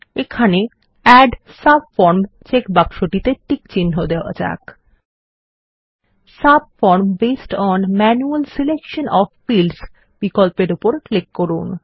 এখানে add subform checkbox টিতে tick চিহ্ন দেওয়া যাক subform based on manual selection of fields বিকল্পের উপর ক্লিক করুন